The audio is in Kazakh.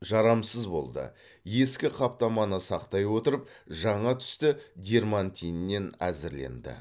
жарамсыз болды ескі қаптаманы сақтай отырып жаңа түсті дерматиннен әзірленді